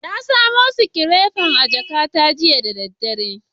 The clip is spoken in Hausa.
Na samo sikirefar a jakata jiya da daddare.